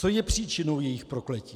Co je příčinou jejich prokletí?